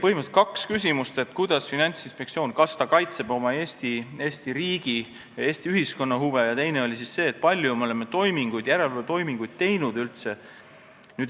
Põhimõtteliselt oli kaks küsimust, esiteks, kas Finantsinspektsioon kaitseb Eesti riigi ja Eesti ühiskonna huve, ja teiseks, kui palju me oleme üldse järelevalvetoiminguid teinud.